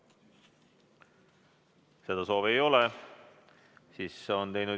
soovi ei ole.